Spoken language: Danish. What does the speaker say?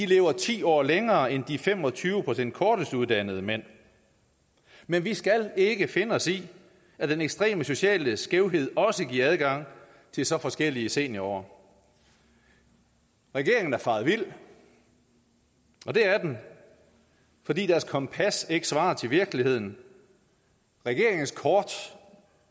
lever ti år længere end de fem og tyve procent kortestuddannede mænd men vi skal ikke finde os i at den ekstreme sociale skævhed også giver adgang til så forskellige seniorår regeringen er faret vild og det er den fordi deres kompas ikke svarer til virkeligheden regeringens kort